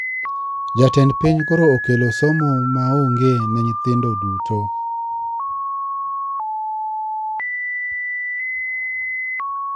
Jatend piny koro okelo somo ma onge ne nyithindo duto.